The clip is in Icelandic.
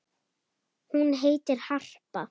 Hún heitir Harpa.